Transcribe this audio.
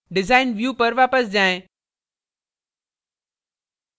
design view पर वापस जाएँ